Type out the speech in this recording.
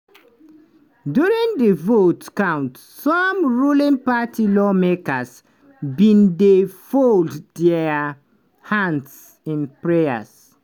during di vote count some ruling party lawmakers bin dey fold dia hands in prayer.